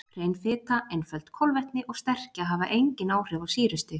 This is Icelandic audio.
Hrein fita, einföld kolvetni og sterkja hafa engin áhrif á sýrustig.